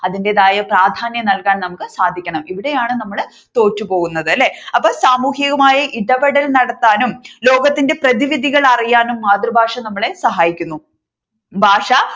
അതിന്റേതായ പ്രാധാന്യം നൽകാൻ നമുക്ക് സാധിക്കണം ഇവിടെയാണ് നമ്മൾ തോറ്റുപോകുന്നത് അല്ലെ. അപ്പൊ സാമൂഹികമായി ഇടപെടലുകൾ നടത്തുവാനും ലോകത്തിന്റെ പ്രതിവിധികൾ അറിയാനും മാതൃഭാഷ നമ്മളെ സഹായിക്കുന്നു ഭാഷ